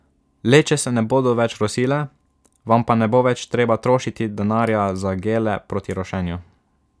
Leče se ne bodo več rosile, vam pa ne bo več treba trošiti denarja za gele proti rošenju.